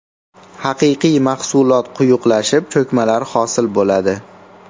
Haqiqiy mahsulot quyuqlashib, cho‘kmalar hosil bo‘ladi.